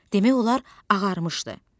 Demək olar ağarmışdı.